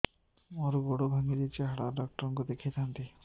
ମୋର ଗୋଡ ଭାଙ୍ଗି ଯାଇଛି ହାଡ ଡକ୍ଟର ଙ୍କୁ ଦେଖେଇ ଥାନ୍ତି